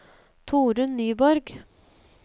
Torunn Nyborg